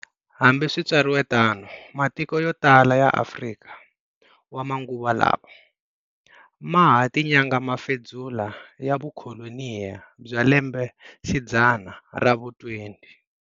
Hambiswitsariwetano, matiko yo tala ya Afrika wa manguva lawa maha tinyanga mafidzula ya vukolonyi bya lembe xidzana ra vu 20.